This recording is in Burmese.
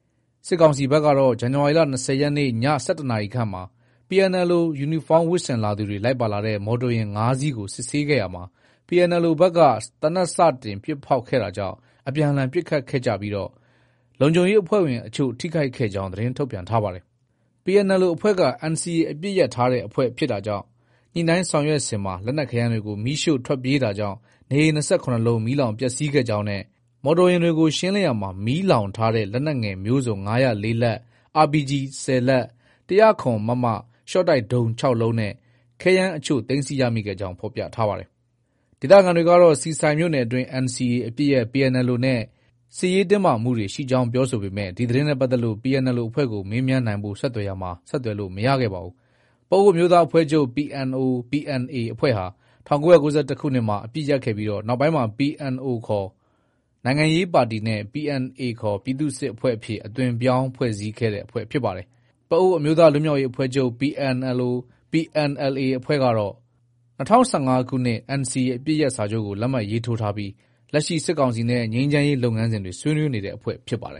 ။ စစ်ကောင်စီဘက်ကတော့ ဇန်နဝါရီလ ၂၀ရက်နေ့ ည ၁၁နာရီခန့်မှာ PNLO ယူနီဖောင်း ဝတ်ဆင်လာသူတွေ လိုက်ပါလာတဲ့ မော်တော်ယာဉ် ၅စီးကို စစ်ဆေးရာမှာ PNLO ဘက်က သေနတ် စတင် ပစ်ဖောက်တာကြောင့် အပြန်အလှန်ပစ်ခတ်ခဲ့ပြီး၊ လုံခြုံရေးအဖွဲ့ဝင် အချို့ ထိခိုက်ကြောင်း သတင်းထုတ်ပြန်ပါတယ်။ PNLO အဖွဲ့က NCA အပစ်ရပ် အဖွဲ့ဖြစ်တာကြောင့် ညှိနှိုင်းဆောင်ရွက်စဉ် လက်နက်ခဲယမ်းတွေကို မီးရှို့ ထွက်ပြေးတာကြောင့် နေအိမ် ၂၇လုံး မီးလောင်ပျက်ဆီးခဲ့ကြောင်းနဲ့ မော်တော်ယာဉ်တွေကို ရှင်းလင်းရာမှာ မီးလောင်ထားတဲ့ လက်နက်ငယ်မျိုးစုံ ၅၀၄လက်၊ RPG ၁၀လက်၊ ၁၀၇ မမ ရှော့တိုက်ဒုံး ၆ လုံးနဲ့ ခဲယမ်းအချို့ သိမ်းဆည်းကြောင်း ဖော်ပြထားပါတယ်။ ဒေသခံတွေက ဆီဆိုင်မြို့နယ်အတွင်း NCA အပစ်ရပ် PNLO နဲ့ စစ်ရေးတင်းမာမှုတွေ ရှိကြောင်း ပြောဆိုပေမဲ့ ဒီသတင်းနဲ့ပတ်သက်ပြီး PNLO အဖွဲ့ကို မေးမြန်းနိုင်ဖို့ ဆက်သွယ်ရာမှာ ဆက်သွယ်လို့ မရခဲ့ပါဘူး။ ပအိုဝ်းအမျိုးသားအဖွဲ့ချုပ် PNO/PNA အဖွဲ့ဟာ ၁၉၉၁နှစ်မှာ အပစ်ရပ်ခဲ့ပြီး နောက်ပိုင်းမှာ PNO ခေါ် နိုင်ငံရေးပါတီနဲ့ PNA ခေါ် ပြည်သူ့စစ်အဖွဲ့အဖြစ် အသွင်ပြောင်းဖွဲ့စည်းခဲ့တဲ့ အဖွဲ့ဖြစ်ပါတယ်။ ပအိုဝ်းအမျိုးသားလွတ်မြောက်ရေးအဖွဲ့ချုပ် PNLO/ PNLA အဖွဲ့ကတော့ ၂၀၁၅ခုနှစ်မှာ NCA အပစ်ရပ်စာချုပ်ကို လက်မှတ်ရေးထိုးထားပြီး လက်ရှိ စစ်ကောင်စီနဲ့ ငြိမ်းချမ်းရေးလုပ်ငန်းစဉ်တွေ ဆွေးနွေးနေတဲ့ အဖွဲ့ဖြစ်ပါတယ်